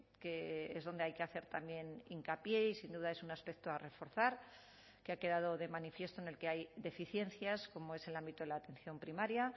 que es donde hay que hacer también hincapié y sin duda es un aspecto a reforzar que ha quedado de manifiesto en el que hay deficiencias como es el ámbito de la atención primaria